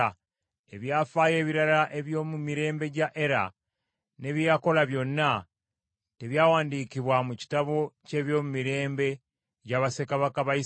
Eby’afaayo ebirala eby’omu mirembe gya Era, ne bye yakola byonna, tebyawandiikibwa mu kitabo ky’ebyomumirembe gya bassekabaka ba Isirayiri?